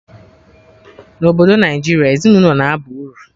Na Obodo Naijiria, ezinaụlọ na aba uru